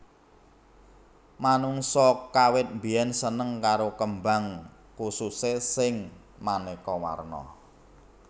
Manungsa kawit biyèn seneng karo kembang khususé sing manéka warna